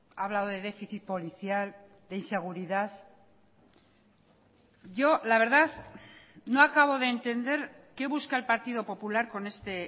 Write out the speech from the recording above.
ha hablado de déficit policial de inseguridad yo la verdad no acabo de entender qué busca el partido popular con este